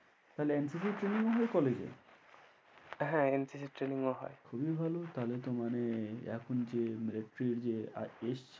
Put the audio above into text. তাহলে NCC training ও হয় college এ? হ্যাঁ NCC training ও হয়। খুবই ভালো, তাহলে তো মানে এখন যে military যে এসেছে অগ্নিবীরদের ওটাও chance college এ পেতে পারো মানে যদি